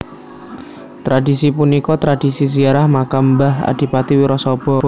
Tradhisi punika tradhisi ziarah makam mbah Adipati Wirasaba